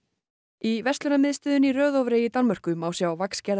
í verslunarmiðstöðinni í Rødovre í Danmörku má sjá